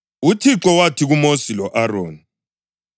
UThixo wathi kuMosi lo-Aroni,